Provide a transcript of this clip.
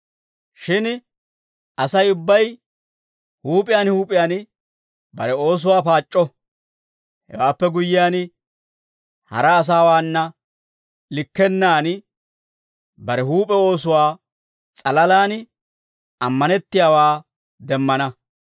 Shin Asay ubbay huup'iyaan huup'iyaan bare oosuwaa paac'c'o; hewaappe guyyiyaan, hara asaawaana likkennaan, bare huup'e oosuwaa s'alalaan ammanettiyaawaa demmana.